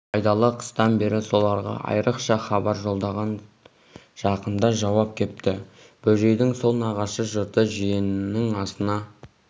байдалы қыстан бері соларға айрықша хабар жолдаған жақында жауап кепті бөжейдің сол нағашы жұрты жиенінің асына